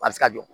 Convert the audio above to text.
A bɛ se ka jɔ